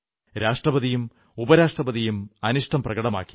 രാഷ്ട്രപതിയും ഉപരാഷ്ട്രപതിയും അനിഷ്ടം പ്രകടമാക്കി